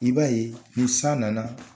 I b b'a ye ni san nana.